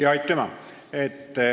Aitüma!